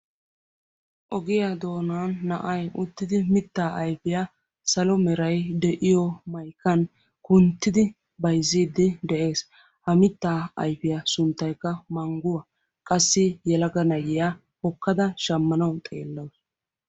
Ogiya doonan na"ayi uttidi mittaa ayfiya salo merayi de"iyo maykan kunttidi bayzziiddi de"es. Ha mittaa ayfiya sinttaykka mangguwa. Qassi yelaga na"iya hokkada shammanawu xeellawus.